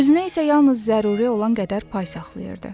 Özünə isə yalnız zəruri olan qədər pay saxlayırdı.